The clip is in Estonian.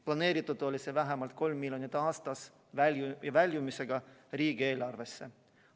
Planeeritud oli vähemalt 3 miljonit aastas väljumisega riigieelarvesse.